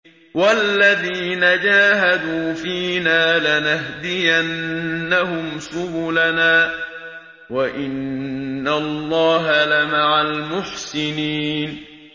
وَالَّذِينَ جَاهَدُوا فِينَا لَنَهْدِيَنَّهُمْ سُبُلَنَا ۚ وَإِنَّ اللَّهَ لَمَعَ الْمُحْسِنِينَ